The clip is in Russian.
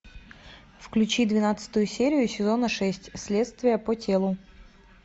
включи двенадцатую серию сезона шесть следствие по телу